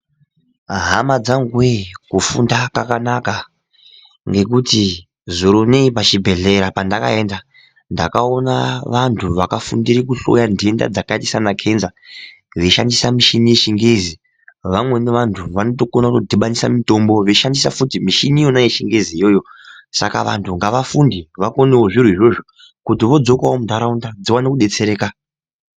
Hama dzanguwe kufunda kwakanaka ngekuti zuro inei pachibhehlera pandakaenda ndakaona vantu vakafundire kuhloya ndenda dzakaita sanakenza veishandisa mishini yechingezi . Vamweni vantu vanotokona kutodhibanisa mitombo veishandisa futi mitombo yechingezi iyoyo, saka vantu ngavafunde vakonewo zviro izvozvo kuti vodzokawo mundaraunda dziwane kudetsereka.